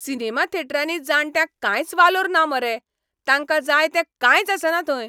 Cinema थेटरांनी जाण्ट्यांक कांयच वालोर ना मरे, तांकां जाय ते कांयच आसना थंय.